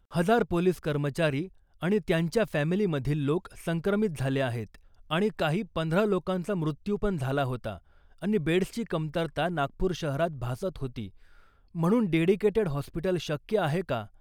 हजार पोलीस कर्मचारी आणि त्यांच्या फॅमिली मधील लोक संक्रमित झाले आहेत आणि काही पंधरा लोकांचा मृत्यू पण झाला होता आणि बेड्सची कमतरता नागपूर शहरात भासत होती म्हणून डेडिकेटेट हॉस्पिटल शक्य आहे का ?